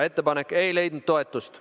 Ettepanek ei leidnud toetust.